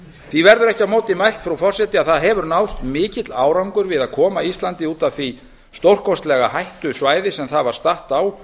því verður ekki á móti mælt frú forseti að það hefur náðst mikill árangur við að koma íslandi út af því stórkostlega hættusvæði sem það var statt á